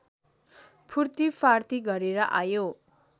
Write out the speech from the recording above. फूर्तिफार्ती गरेर आयो